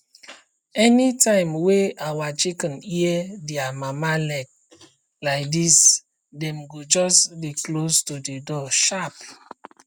anytime wey our chicken hear dia mama leg laidis dem go just dey close to the door sharp